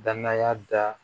Danaya da